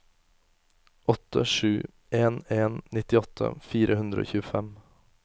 åtte sju en en nittiåtte fire hundre og tjuefem